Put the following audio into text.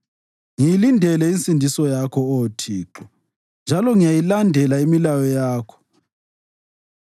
Ngiyilindele insindiso yakho, Oh Thixo njalo ngiyayilandela imilayo yakho.